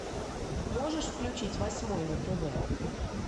можешь включить восьмой на тв